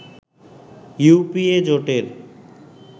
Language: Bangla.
ইউপিএ জোটের